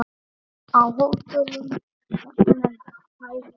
Á hótelum jafnvel færri.